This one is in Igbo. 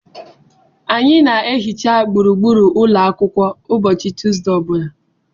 Anyị na-ehicha gburugburu ụlọ akwụkwọ ụbọchị Tuesde ọ bụla.